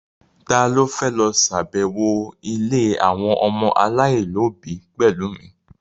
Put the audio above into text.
Ta ló fẹ́ lọ ṣàbẹ̀wọ̀ ilé àwọn ọmọ aláìlóbi pẹ̀lú mi?